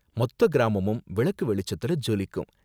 மொத்த கிராமமும் விளக்கு வெளிச்சத்துல ஜொலிக்கும்.